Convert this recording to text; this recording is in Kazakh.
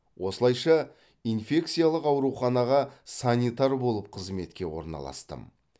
осылайша инфекциялық ауруханаға санитар болып қызметке орналастым